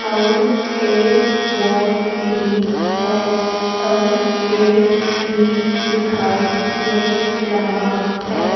और एक बोर्ड भी है और गेट भी दिखाई दे रहा है।